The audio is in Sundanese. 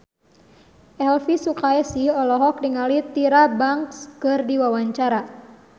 Elvi Sukaesih olohok ningali Tyra Banks keur diwawancara